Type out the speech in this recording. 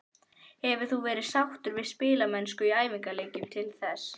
Hefur þú verið sáttur við spilamennskuna í æfingaleikjum til þessa?